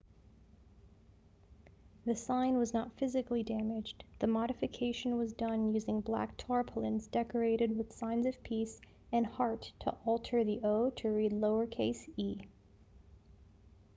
the sign was not physically damaged the modification was done using black tarpaulins decorated with signs of peace and heart to alter the o to read lowercase e